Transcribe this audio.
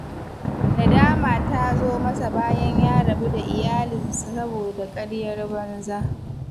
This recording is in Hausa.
Nadama ta zo masa bayan ya rabu da iyalinsa saboda ƙaryar banza.